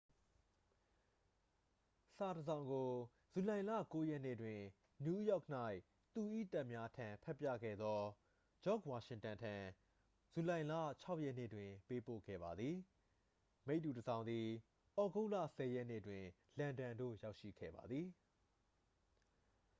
စာတစ်စောင်ကို ဇူလိုင်လ 9 ရက်နေ့တွင် နယူးယောက်၌ သူ၏တပ်များထံဖတ်ပြခဲ့သော ဂျော့ဂျ်ဝါရှင်တန်ထံ ဇူလိုင်လ 6 ရက်နေ့တွင် ပေးပို့ခဲ့ပါသည် မိတ္တူတစ်စောင်သည် သြဂုတ်လ 10 ရက်နေ့တွင် လန်ဒန်သို့ရောက်ရှိခဲ့ပါသည်